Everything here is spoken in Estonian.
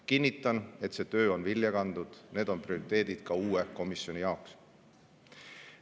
Kinnitan, et see töö on vilja kandnud – need on prioriteedid ka uue komisjoni jaoks.